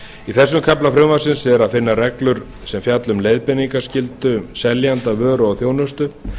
í þessum kafla frumvarpsins er að finna reglur sem fjalla um leiðbeiningarskyldu seljanda vöru og þjónustu